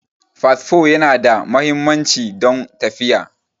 Fasfo Yana da muhimmanci don tafiya